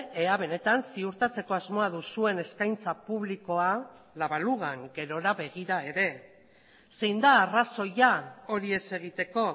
ea benetan ziurtatzeko asmoa duzuen eskaintza publikoa la balugan gerora begira ere zein da arrazoia hori ez egiteko